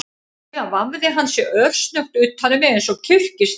Síðan vafði hann sig örsnöggt utan um mig eins og kyrkislanga